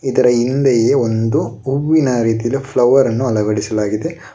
ಇದರ ಹಿಂದೆ ಒಂದು ಹೂವಿನ ರೀತಿಯಲ್ಲಿ ಫ್ಲವರ್ ಅನ್ನು ಅಳವಡಿಸಲಾಗಿದೆ.